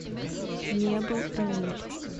не был рамиль